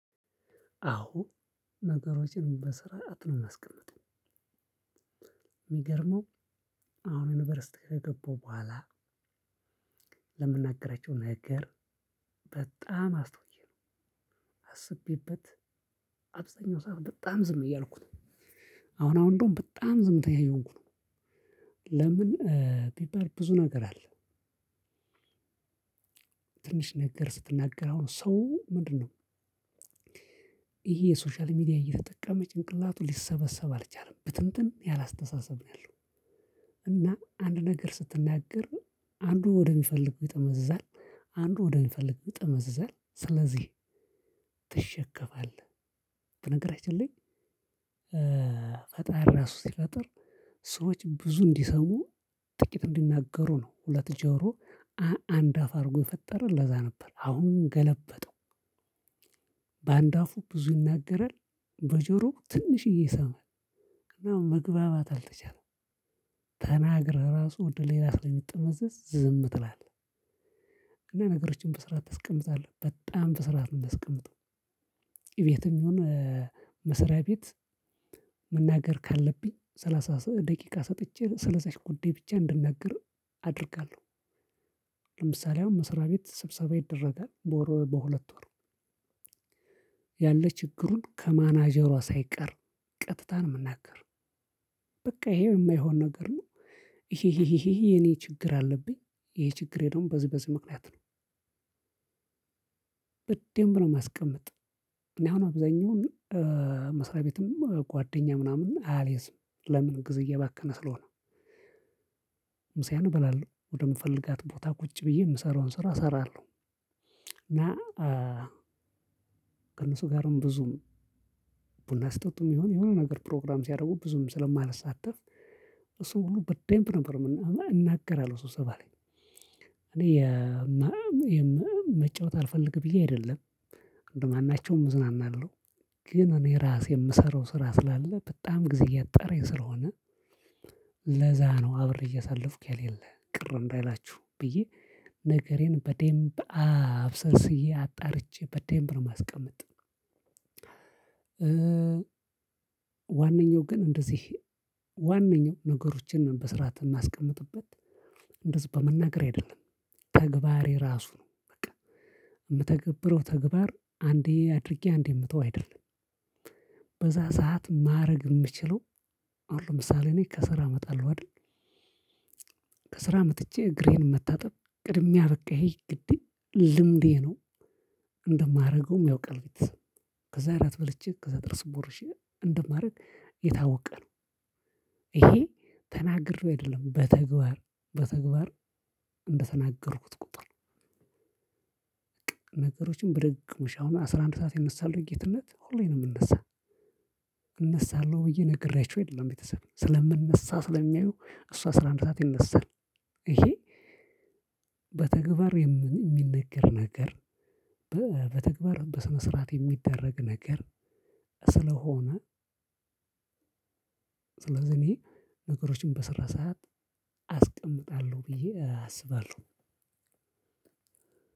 አዎ ነገሮችን በስርዓት ነው እማስቀምጥ። የሚገርመው። አሁን ዩኒቨርሲቲ ከገባሁ በኋላ። ለምናገራቸው ነገር በጣም አስተውዬ ነው። አስቤበት አብዛኛው ሰዓት በጣም ዝም እያልኩ ነው። አሁን አሁን እንደውም በጣም ዝምተኛ እየሆንኩ ነው። ለምን? ቢባል ብዙ ነገር አለ። ትንሽ ነገር ስትናገር አሁን ሰው ምንድነው? ይሄ የሶሻል ሚዲያ እየተጠቀመ ጭንቅላቱ ሊሰበሰብ አልቻለም ብትንትን ያለ አስተሳሰብ ነው ያለው። እና አንድ ነገር ስትናገር አንዱ ወደሚፈልግበት ይጠመዝዛል። አንዱ ወደሚፈልግበት ይመዝዛል። ስለዚህ ትሸከማለህ። በነገራችን ላይ። ፈጣሪ ራሱ ሲፈጥር ሰዎች ብዙ እንዲሰሙ ጥቂት እንዲናገሩ ነው። ሁለት ጆሮ አንድ አፍ አርጎ የፈጠረ ለዛ ነበር አሁን ገለበጠው። በአንድ አፉ ብዙ ይናገራል። በጆሮ ትንሽዬ ይሰማል። እና መግባባት አልተቻለም። ተናግረህ ራሱ ወደ ሌላ ስለሚጥመዘዝ ዝም ትላለህ እና ነገሮችን በስርዓት አስቀምጣለሁ በጣም በስርዓት እምታስቀምጠው። እቤትም ይሁን መስሪያ ቤት። መናገር ካለብኝ ሰላሳ ደቂቃ ሰጥቼ ስለዚች ጉዳይ ብቻ እንድናገር አደርጋለሁ። ለምሳሌ አሁን መስራቤት ስብሰባ ይደረጋል በወር በሁለት ወር ያለ ችግሩን ከማናጀሯ ሳይቀር ቀጥታ እንምናገር። በቃ ይሄ እማይሆን ነገር ነው። ይሄ ይሄ ይሄ የኔ ችግር አለብኝ ይሄ ችግሬ ነው በዚህ በዚህ ምክንያት ነው። በደንብ ነው ማስቀመጥ። እኔ አሁን አብዛኛውን መስሪያ ቤትም ጓደኛ ምናምን አልይዝም ለምን ጊዜ እየባከነ ስለሆነ። ምሳዬን እበላለሁ ወደምፈልጋት ቦታ ቁጭ ብዬ እምሰራውን ስራ እሰራለሁ። እና ከእነሱ ጋርም ብዙም ቡና ስጠጡ ይሁን የሆነ ነገር ፕሮግራም ሲያደርጉ ብዙም ስለማልሳተፍ። እሱን ሁሉ በደንብ ነበር እናገራለሁ ስብሰባ ላይ። እኔ የመም የመም መጫወት አልፈልግም ብዬ አይደለም። አንድ ማን ናቸው እዝናናለሁ ግን እኔ ራሴ የምሰራው ስራ ስላለ በጣም ጊዜ እያጣረኝ ስለሆነ። ለዛ ነው አብሬ እያሳለፍኩ የሌለ ቅር እንዳይላችሁ ብዬ ነገሬን በደምብ አብሰልስዬ አጣርቼ በደምብ ነው እማስቀመጥ። ዋነኛው ግን እንደዚህ ዋነኛው ነገሮቻችን በስርዓት እማስቀምጥበት በመናገር አይደለም። ተግባሬ ራሱ ነው በቃ። የምተገብረው ተግባር አንዴ አድርጌ አንዴ የምተው አይደለም። በዛ ሰዓት ማረግ እምችለው። አሁን ለምሳሌ እኔ ከስራ አመጣለሁ አይደል? ከስራ መጥቼ እግሬን መታጠብ ቅድሚያ በቃ ግዴታ ልምዴ ነው። እንደማደርገውም ያውቃል ቤተሰብ ከዛ አራት በልቼ ከዛ ጥርስ ቦርሼ እንደማደርግ የታወቀ ነው። ይሄ ተናግሬው አይደለም በተግባር በተግባር እንደተናገርኩት ቁጥር። ነገሮችን ብድግ ውሻውን አሁን አስራ አንድ ሰዓት ይነሳል ወይ ጌትነት ሁሌም እምነሳ። እነሳለሁ ብዬ ነግሬያቸው አይደለም ቤተሰብ ስለምንነሳ ስለሚያዩ እሱ አስራ አንድ ሰዓት ይነሳል። ይሄ በተግባር የሚነገር ነገር። በተግባር በስነ ስርዓት የሚደረግ ነገር ስለሆነ። ስለዚህ እኔ ነገሮችን በስራ ሰዓት አስቀምጣለሁ ብዬ አስባለሁ።